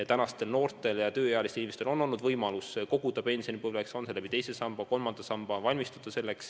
Ja tänastel noortel ja tööealistel inimestel on võimalus koguda pensionipõlveks – on see teise samba või kolmanda samba abil.